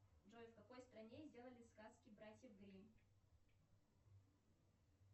джой в какой стране сделали сказки братьев гримм